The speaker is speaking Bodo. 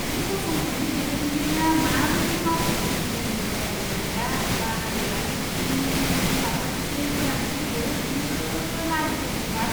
बे फसंथाननि दैदेनगिरिया माबोरै मावख'गिरिफोरनि मोजांनि अनगा बाहागो लागिरिफोरनि मुलाम्फाखौसो गोनांथि होयो बेयो लाजिथावथाव थार।